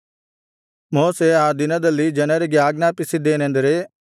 ಮೋಶೆ ಆ ದಿನದಲ್ಲಿ ಜನರಿಗೆ ಆಜ್ಞಾಪಿಸಿದ್ದೇನೆಂದರೆ